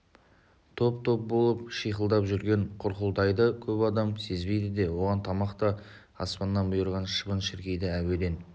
топ-топ болып шиқылдап жүрген құрқылтайды көп адам сезбейді де оған тамақ та аспаннан бұйырған шыбын-шіркейді әуеден